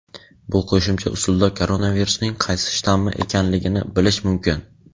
bu qo‘shimcha usulda koronavirusning qaysi shtammi ekanligini bilish mumkin.